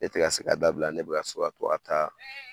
E te ka se k'a dabila ne be ka so ka to ka taa